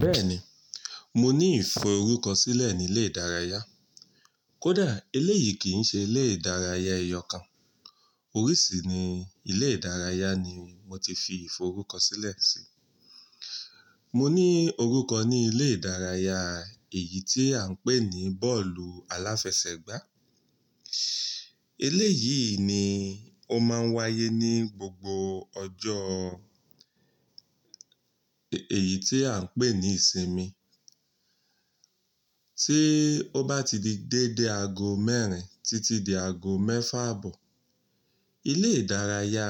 Bẹ́ẹ̀ni, mo ní ìforúkọsílẹ̀ ní ilé ìdárayá. Kódà eléyìí kì í ṣe ilé ìdárayá ẹyọ kan. Oríṣiríṣi ni ilé ìdárayá ni mo ti fi ìforúkọsílẹ̀ sí. Mo ní orúkọ ní ilé ìdárayá èyí tí à ń pè ní bọ́ọ̀lù aláfẹsẹ̀gbá. Eléyìí ni ó máa ń wáyé ní gbogbo ọjọ́ èyí tí à ń pè ní ìsinmi. Tí ó bá ti di dédé ago mẹ́rin títí di ago mẹ́fà àbọ̀, ilé ìdárayá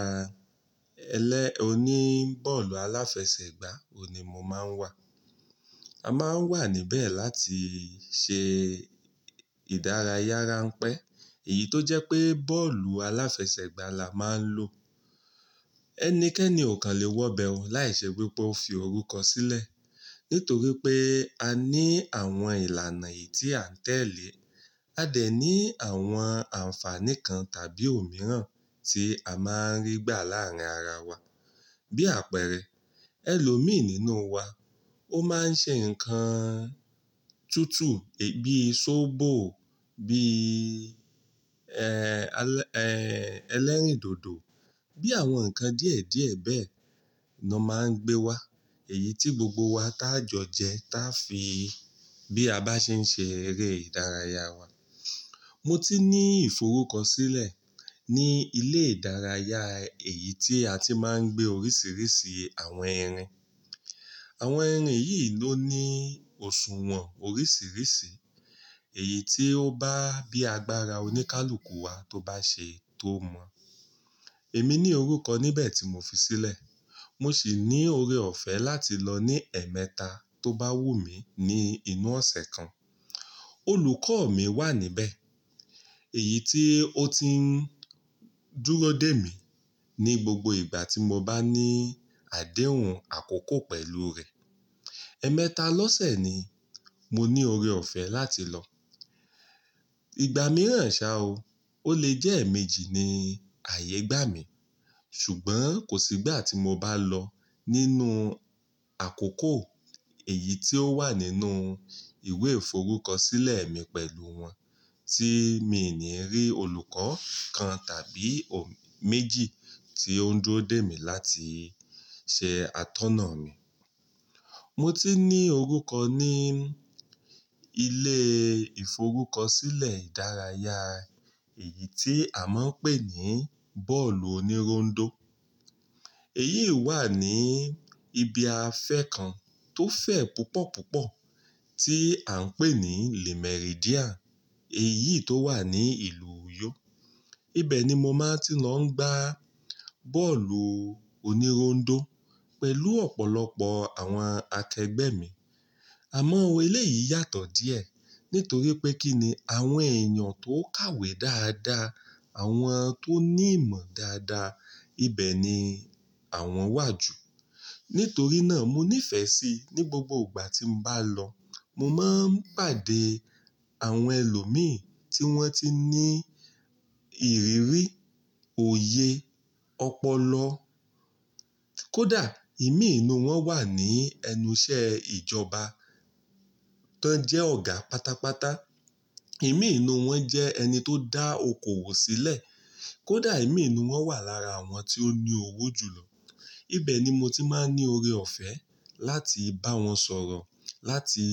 ele oní bọ́ọ̀lù aláfẹsẹ̀gbá oun ni mo máa ń wà. A máa ń wà níbẹ̀ láti ṣe ìdárayára ranpẹ́, èyí tó jẹ́ pé bọ́ọ̀lù aláfẹsẹ̀gbá la máa ń lò. Ẹnikẹ́ni ò kan lè wọ́bẹ̀ o láìṣẹ́ wípé ó fi orúkọ sílẹ̀ nítorí pé a ní àwọn ìlànà èyí tí à ń tẹ̀lé. A dẹ̀ ní àwọn àǹfààní kan tàbí òmíràn tí a máa ń rí gbà láàárín ara wa. Bí àpẹẹrẹ, ẹlòmí nínú wa ó máa ń ṣe nǹkan túútúú, bíi sóbò, bíi, ẹlẹ́rìndòdò, bí àwọn nǹkan díẹ̀díẹ̀ bẹ́ẹ̀ lọ máa ń gbé wa, èyí tí gbogbo wa tá jọ jẹ tá fi bí a bá ṣe ń ṣe eré ìdárayá wa. Mo ti ní ìforúkọsílẹ̀ ní ilé ìdárayá èyí tí a ti máa ń gbé oríṣiríṣi àwọn ẹrin. Àwọn ẹrin yìí ló ní òṣùwọ̀n oríṣiríṣi èyí tí ó bá bíi agbára oníkálukú wa tó bá ṣe tó mọ̀. Èmi ní orúkọ níbẹ̀ tí mo fi sílẹ̀. Mo sì ní oore ọ̀fẹ́ láti lọ ní ẹ̀ẹ̀mẹta tó bá wù mí ní inú ọ̀sẹ̀ kan. Olùkọ́ mi wà níbẹ̀, èyí tí ó ti ń dúró dè mí ní gbogbo ìgbà tí mo bá ní àdéhùn àkókò pẹ̀lú rẹ̀. Ẹ̀ẹ̀mẹta lọ́sẹ̀ ni mo ní oore ọ̀fẹ́ láti lọ. Ìgbà mìíràn ṣa o, ó lè jẹ́ ẹ̀mèjì ní àyè gbà mí. Ṣùgbọ́n kò sígbà tí mo bá lọ nínú àkókò èyí tí ó wà nínú ìwé ìforúkọsílẹ̀ mi pẹ̀lú wọn tí mi ní rí olùkọ́ kan tàbí méjì tí ó ń dúró dè mí láti ṣe atọ́nà mi. Mo ti ní orúkọ ní ilé ìforúkọsílẹ̀ ìdárayá èyí tí a máa ń pè ní bọ́ọ̀lù onírondó. Èyí wà ní ibi afẹ́ kan tó fẹ̀ púpọ̀púpọ̀ tí à ń pè ní Le Méridien èyí tó wà ní ìlú Uyó. Ibẹ̀ ni mo máa ti lọ ń gba bọ́ọ̀lù onírondó pẹ̀lú ọ̀pọ̀lọpọ̀ àwọn akẹgbẹ́ mi. Àmọ́ eléyìí yàtọ̀ díẹ̀ nítorí pé kí ni àwọn èèyàn tó ń kàwé dáadáa, àwọn tó ní ìmọ̀ dáadáa ibẹ̀ ni àwọn wà jù. Nítorí náà mo ní ìfẹ́ sí i ní gbogbo ìgbà tí mo bá lọ. Mo máa ń pàdé àwọn ẹlòmí tí wọ́n ti ní ìrírí, òye, ọpọlọ. Kódà ìmí inú wọn wà ní ẹnu iṣẹ́ ìjọba tań jẹ́ ọ̀gá pátápátá. Ìmí inú wọn jẹ́ ẹni tó dá okoòwò sílẹ̀. Kódà ìmí inú wọn wà lára àwọn tí ó ní owó jù lọ. Ibẹ̀ ni mo ti máa ń ní oore ọ̀fẹ́ láti bá wọn sọ̀rọ̀, láti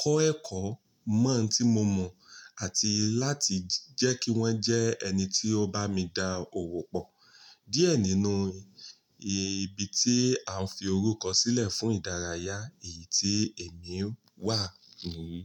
kọ́ ẹ̀kọ́ mọ́ ǹ tí mo mọ̀ àti láti jẹ́ kí wọ́n jẹ́ ẹni tí ó bá mi dá owó pọ̀ díẹ̀ nínú ibi tí à ń fi orúkọ sílẹ̀ fún ìdárayá èyí tí èmi wà níyii.